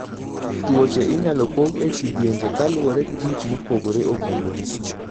Tuoche inyalo pog e kidienje kaluwore gi gik mopogore opogore.